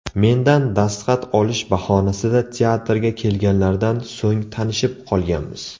Mendan dastxat olish bahonasida teatrga kelganlaridan so‘ng tanishib qolganmiz.